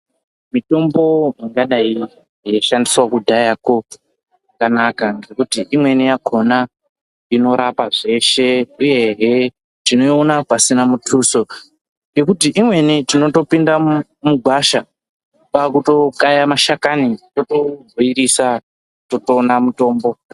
Mitombo yaidai ichishandiswa kudhayako yakanaka ngekuti imweni yakona inorapa zveshe uyehe tinoona pasina mutuso ngekuti imweni tinopinda mugwasha totobhoilisa mitombo.